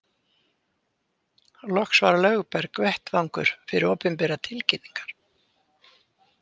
Loks var Lögberg vettvangur fyrir opinberar tilkynningar.